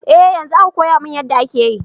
Eh yanzo aka koyamin yadda ake yi.